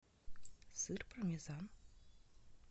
сыр пармезан